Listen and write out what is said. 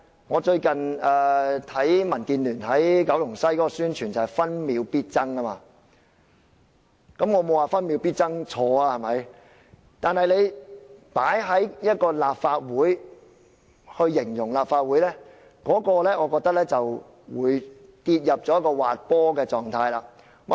我最近看到民建聯在九龍西的宣傳是"分秒必爭"，我沒有說分秒必爭是錯，但如果用來形容立法會，我認為會跌入滑坡的狀態。